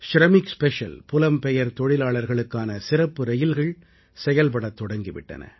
Shramik special புலம்பெயர் தொழிலாளர்களுக்கான சிறப்பு ரயிகள் செயல்படத் தொடங்கி விட்டன